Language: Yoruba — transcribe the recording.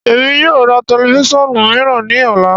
Emi yoo ra tẹlifisiọnu miiran ni ọla.